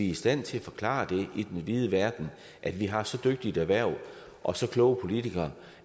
i stand til at forklare i den vide verden at vi har så dygtigt et erhverv og så kloge politikere